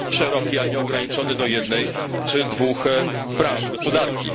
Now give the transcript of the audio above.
szeroki, a nie ograniczony do jednej czy dwóch branż gospodarki.